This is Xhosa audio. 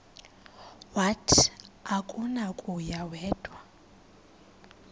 wathi akunakuya wedw